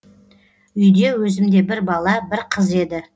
үйде өзімде бір бала бір қыз еді